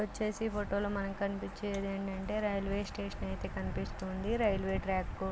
ఇక్కడ వచ్చేసి ఫోటోలో మనకి కనిపించేది ఏంటంటే రైల్వే స్టేషన్ అయితే కనిపిస్తుంది రైల్వే ట్రాక్ --